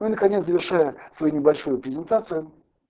ну и наконец завершаем свою небольшую презентацию